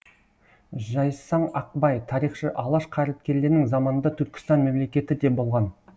жайсаң ақбай тарихшы алаш қайраткерлерінің заманында түркістан мемлекеті де болған